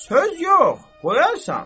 Söz yox, qoyarsan.